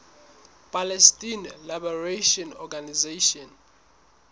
palestine liberation organization